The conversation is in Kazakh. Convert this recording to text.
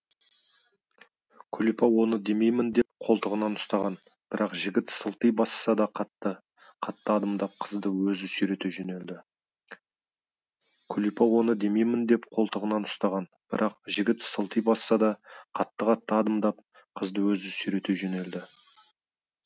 күлипа оны демеймін деп қолтығынан ұстаған бірақ жігіт сылти басса да қатты қатты адымдап қызды өзі сүйрете жөнелді күлипа оны демеймін деп қолтығынан ұстаған бірақ жігіт сылти басса да қатты қатты адымдап қызды өзі сүйрете жөнелді